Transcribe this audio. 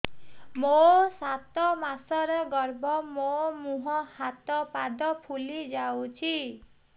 ମୋ ସାତ ମାସର ଗର୍ଭ ମୋ ମୁହଁ ହାତ ପାଦ ଫୁଲି ଯାଉଛି